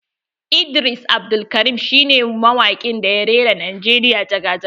Idris Abdulkarim shine mawaƙin da ya rera Najeriya jaga jaga.